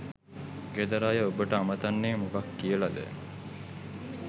ගෙදර අය ඔබට අමතන්නේ මොකක් කියලද?